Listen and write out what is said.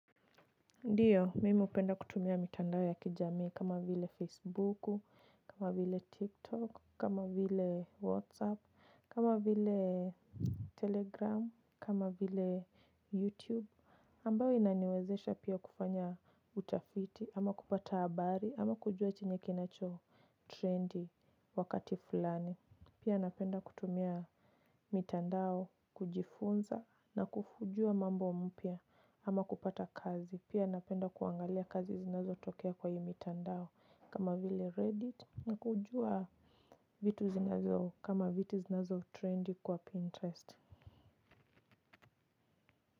Ndiyo, mimi upenda kutumia mitandao ya kijami kama vile Facebook, kama vile TikTok, kama vile WhatsApp, kama vile Telegram, kama vile YouTube. Ambayo inaniwezesha pia kufanya utafiti, ama kupata habari, ama kujua chinye kinacho trendi wakati fulani. Pia napenda kutumia mitandao kujifunza na kujua mambo mpya, ama kupata kazi. Pia napenda kuangalia kazi zinazo tokea kwa ii mitandao kama vile reddit na kujua vitu zinazo kama vitu zinazo trendi kwa pinterest.